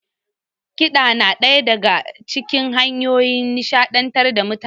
Kiɗa na ɗaya daga cikin hanyoyin nishaɗantar da mutane.